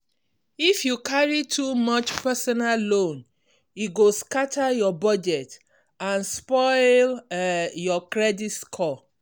if you carry too much personal loan e go scatter your budget and spoil um your credit score.